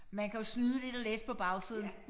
Man kan jo snyde lidt og læse på bagsiden